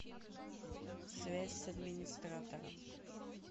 связь с администратором